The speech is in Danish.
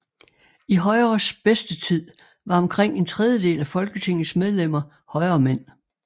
I Højres bedste tid var omkring en tredjedel af Folketingets medlemmer højremænd